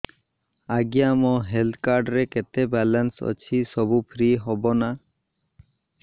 ଆଜ୍ଞା ମୋ health card ରେ କେତେ ବାଲାନ୍ସ ଅଛି ସବୁ ଫ୍ରି ହବ ନାଁ